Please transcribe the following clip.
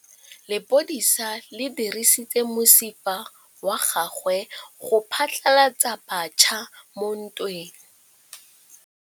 Lepodisa le dirisitse mosifa wa gagwe go phatlalatsa batšha mo ntweng.